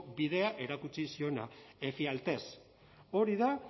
bidea erakutsi ziona efialtes hori da